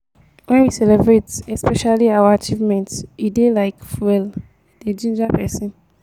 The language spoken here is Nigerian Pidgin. when we celebrate especially our achievement e dey like fuel e dey ginger person